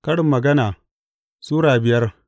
Karin Magana Sura biyar